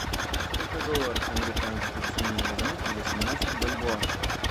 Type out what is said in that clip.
сколько долларов американских с меня возьмут за семнадцать бальбоа